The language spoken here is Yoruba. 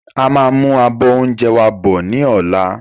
A máa mú àbọ̀ oúnjẹ wá bọ̀ ni ọ̀la.